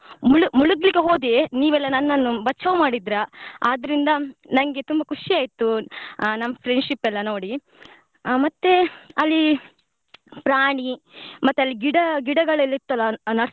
ಮುಳು~ ಮುಳುಗ್ಲಿಕ್ಕೆ ಹೋದೆ ನೀವೆಲ್ಲ ನನ್ನನ್ನು ಬಚಾವು ಮಾಡಿದ್ರ ಆದ್ರಿಂದ ನಂಗೆ ತುಂಬಾ ಖುಷಿ ಆಯ್ತು ಆ ನಮ್ friendship ಎಲ್ಲ ನೋಡಿ ಆ ಮತ್ತೇ ಅಲ್ಲಿ ಪ್ರಾಣಿ ಮತ್ತೆ ಅಲ್ಲಿ ಗಿಡ ಗಿಡಗಳೆಲ್ಲ ಇತ್ತಲ್ಲ.